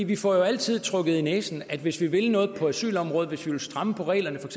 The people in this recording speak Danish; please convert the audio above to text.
vi får jo altid revet i næsen at hvis vi vil noget på asylområdet at hvis vi vil stramme på reglerne for